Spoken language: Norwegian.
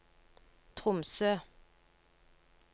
Tromsø